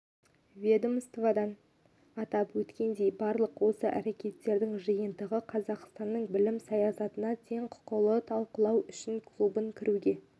ведомстводан атап өткендей барлық осы әрекеттердің жиынтығы қазақстанның білім саясатын тең құқылы талқылау үшін клубына кіруге